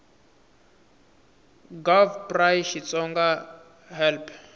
gov pri xitsonga hl p